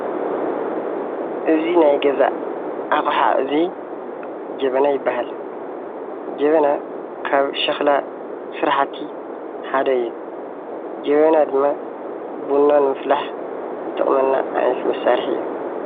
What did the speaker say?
እዚ ናይ ገዛ ኣቅሓ እዚ ጀበና ይበሃል። ጀበና ካብ ሸኽላ ስራሕቲ ሓደ እዩ። ጀበና ድማ ቡና ንምፍላሕ ዝጠቅመና ዓይነት መሳርሒ እዩ።